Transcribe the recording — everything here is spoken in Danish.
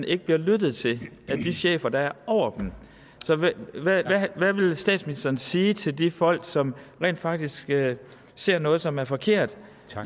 ikke bliver lyttet til dem af de chefer der er over dem så hvad vil statsministeren sige til de folk som rent faktisk ser noget som er forkert